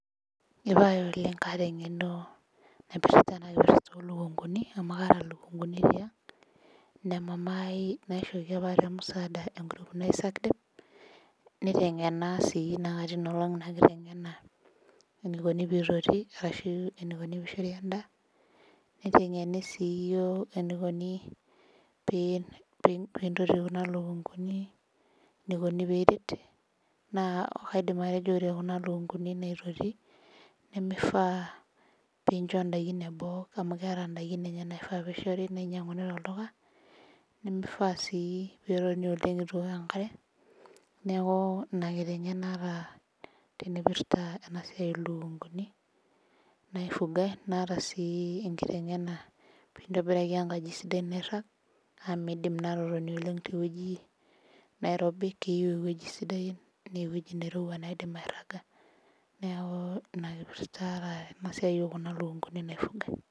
Ee pae oleng kaata eng'eno naipirta ilikunkini. amu kaata naishooki apa mamai.te group naji sakdem. nitengena. naa katii Ina olong Ina kitengena. enikoni pee otii. enikoni pee ishori edaa. nitengeni sii, iyiook enikoni pee ototii Kuna lukunkuni . enikoni pee ereti. naa kaidim atejo ore Kuna lukunkuni naototi nimifaa pee incho daikin eboo. amu keeta daikin enye Naifaa pee ishori. nainyianguni tolduka. nimifaa sii peetoni oleng. eitu eok enkare. neeku kitengenaa aat naipirta Kuna lukunkuni naifugai. naata sii ena pee intobiraki enkaji sidai nairag. amu miidim naa aatotoni oleng te wueji .nairobi. itii ewueji sidai. naa ewueji naairowua naidim araga. neeku Ina kipirta aata tene wueji oo Kuna lukunkuni naipirtae.